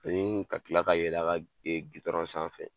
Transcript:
Ani ka tila ka yɛlɛ a ka jè gudɔrɔn sanfɛ.